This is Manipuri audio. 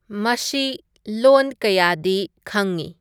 ꯃꯁꯤ ꯂꯣꯟ ꯀꯌꯥꯗꯤ ꯈꯪꯉꯤ